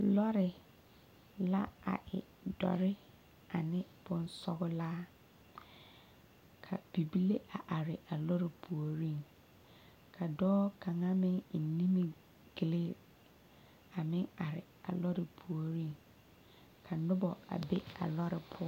Lɔre la e dɔre ane bonsɔglaa ka bibile a are a lɔre puoriŋ ka dɔɔ kaŋa meŋ eŋ nimigille a meŋ are a lɔre puoriŋ ka noba be a lɔre poɔ.